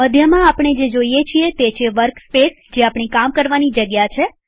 મધ્યમાંઆપણે જોઈએ છીએ તે છે વર્કસ્પેસજે આપણી કામ કરવાની જગ્યા છે